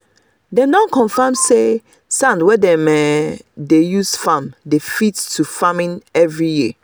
them don confam say sand wey dem um dey use farm dey fit to farming every year.